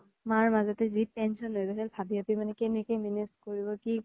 মাৰ মাজতে যি tension হৈ গৈছিল ভাবি ভাবি মানে কেনেকে manage কৰিব কি কৰিব